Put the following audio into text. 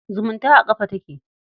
Zumunta a ƙafa take.